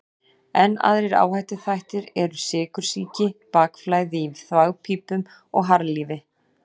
Enn aðrir áhættuþættir eru sykursýki, bakflæði í þvagpípum og harðlífi.